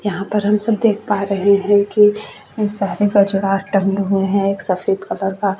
यहाँ पर हम सब देख पा रहे है की सारे गजरा टंगे हुए है एक सफ़ेद कलर का --